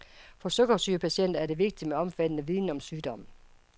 For sukkersygepatienter er det vigtigt med omfattende viden om sygdommen.